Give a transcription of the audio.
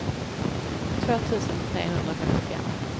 två tusen trehundrafemtiofem